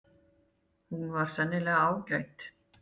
Hún var sennilega ágæt.